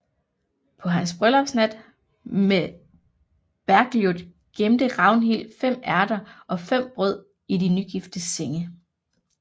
På hans bryllupsnat med Bergljot gemte Ragnhild fem ærter og fem brød i de nygiftes seng